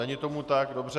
Není tomu tak, dobře.